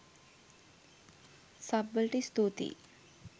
Sub වලට ස්තූතියි.